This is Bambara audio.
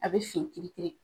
A be fin kiri kiri